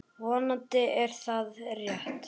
Vonandi er það rétt.